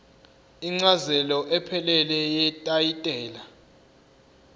incazelo ephelele yetayitela